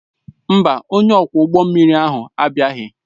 Mba, onye ọkwọ ụgbọ mmiri ahụ abịaghị